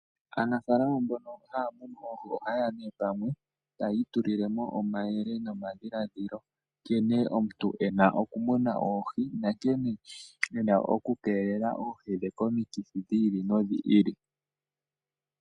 Aanafaalama mbono haya munu oohi ohaye ya pamwe, e taya itulile mo omayele nomadhiladhilo nkene omuntu e na okumuna oohi nankene e na okukeelela oohi dhe komikithi dhi ili nodhi ili.